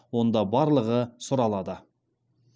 онда барлығы сұралады